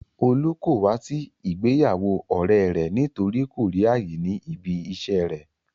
Olú kò wá sí ìgbéyàwó ọ̀rẹ́e rẹ̀ nítorí kò rí ààyè ní ibi iṣẹ́e rẹ̀.